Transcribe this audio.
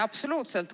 Absoluutselt!